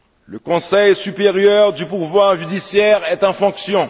le Conseil supérieur du pouvoir judiciaire est en fonction